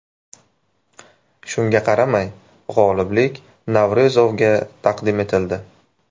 Shunga qaramay, g‘oliblik Navro‘zovga taqdim etildi.